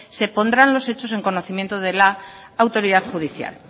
se pondrán los hechos en conocimiento de la autoridad judicial